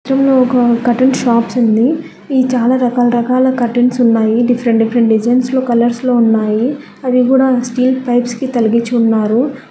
చిత్రంలో ఒక curtain shops ఉంది. ఇది చాలా రకాల రకాల కర్టన్స్ ఉన్నాయి డిఫరెంట్ డిఫరెంట్ డిజైన్స్లో కలర్స్ లో ఉన్నాయి అవి కూడా స్టీల్ పైప్స్ కి తలిగిచ్చి ఉన్నారు.